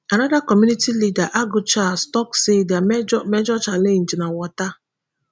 anoda community leader agu charles tok say dia major major challenge na water